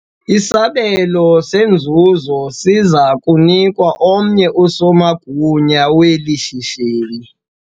Isabelo senzuzo siza kunikwa omnye usomagunya weli shishini.